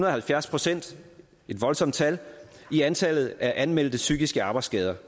og halvfjerds procent et voldsomt tal i antallet af anmeldte psykiske arbejdsskader